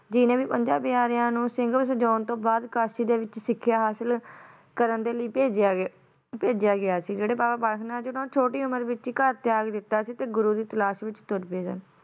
ਜੀ ਨੇ ਵੀ ਪੰਜਾਂ ਪਿਆਰਿਆਂ ਨੂੰ ਸਿੰਘ ਸਜਾਉਣ ਤੋਂ ਬਾਅਦ ਕਾਸ਼ੀ ਦੇ ਵਿੱਚ ਸਿੱਖਿਆ ਹਾਸਲ ਕਰਨ ਦੇ ਲਈ ਭੇਜਿਆ ਗਿਆ ਭੇਜਿਆ ਗਿਆ ਸੀ ਜਿਹੜੇ ਬਾਬਾ ਬਾਲਕ ਨਾਥ ਜੀ ਨੇ ਉਹਨਾਂ ਨੇ ਛੋਟੀ ਉਮਰ ਵਿੱਚ ਹੀ ਘਰ ਤਿਆਗ ਦਿੱਤਾ ਸੀ ਤੇ ਗੁਰੂ ਦੀ ਤਲਾਸ਼ ਵਿੱਚ ਤੁਰ ਪਏ ਸਨ